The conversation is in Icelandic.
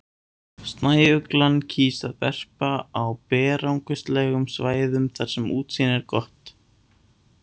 Snæuglan kýs að verpa á berangurslegum svæðum þar sem útsýni er gott.